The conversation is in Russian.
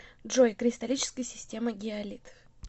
джой кристаллическая система гиалит